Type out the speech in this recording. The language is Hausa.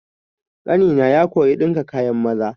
Ƙanina ya koya ɗinka kayan maza.